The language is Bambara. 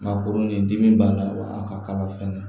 Maa koronin dimi b'a la wa a ka kalan fɛnɛ